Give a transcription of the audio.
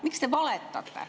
Miks te valetate?